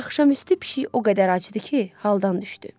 Axşamüstü pişik o qədər acdı ki, haldan düşdü.